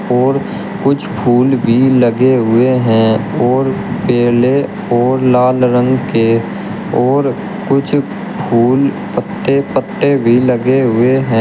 और कुछ फूल भी लगे हुए हैं और केले और लाल रंग के और कुछ फूल पत्ते पत्ते भी लगे हुए हैं।